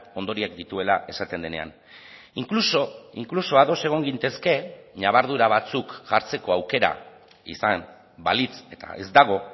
ondorioak dituela esaten denean inkluso inkluso ados egon gintezke ñabardura batzuk jartzeko aukera izan balitz eta ez dago